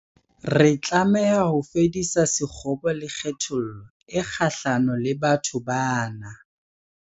Re tlameha ho fedisa sekgobo le kgethollo e kgahlano le batho bana.